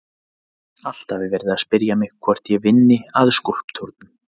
Alltaf er verið að spyrja mig hvort ég vinni að skúlptúrnum.